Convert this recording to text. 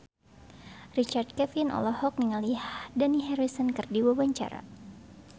Richard Kevin olohok ningali Dani Harrison keur diwawancara